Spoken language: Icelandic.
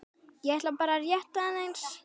ég ætlaði bara rétt aðeins.